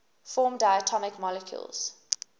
form diatomic molecules